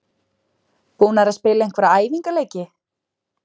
Búnar að spila einhverja æfingaleiki?